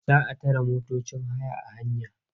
Za a tare motocin haya a hanya.